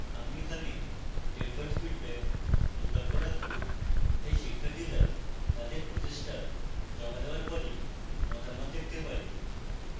আমি এখানে deferred feedback বিকল্প রাখবো তাই শিক্ষার্থীরা তাদের প্রচেষ্টা জমা দেওয়ার পরই মতামত দেখতে পাবে